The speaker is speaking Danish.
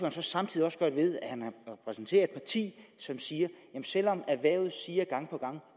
at han samtidig repræsenterer et parti som siger selv om erhvervet gang på gang